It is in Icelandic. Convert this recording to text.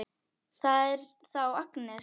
Það er þá Agnes!